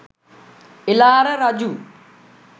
එළාර රජු